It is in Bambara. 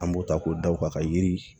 An b'o ta k'o da o kan ka yiri